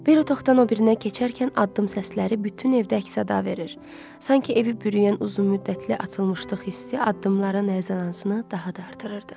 Bir otaqdan o birinə keçərkən addım səsləri bütün evdə əks-səda verir, sanki evi bürüyən uzun müddətli açılmışlıq hissi addımların əzəmətini daha da artırırdı.